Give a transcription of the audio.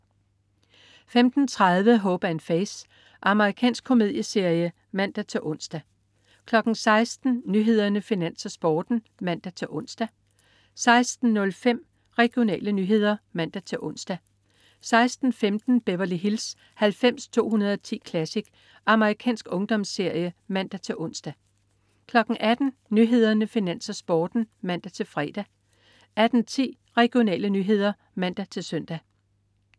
15.30 Hope & Faith. Amerikansk komedieserie (man-ons) 16.00 Nyhederne, Finans, Sporten (man-ons) 16.05 Regionale nyheder (man-ons) 16.15 Beverly Hills 90210 Classic. Amerikansk ungdomsserie (man-ons) 18.00 Nyhederne, Finans, Sporten (man-fre) 18.10 Regionale nyheder (man-søn)